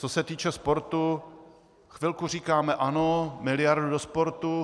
Co se týče sportu, chvilku říkáme ano, miliardu do sportu.